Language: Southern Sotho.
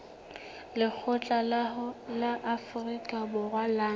lekgotla la afrika borwa la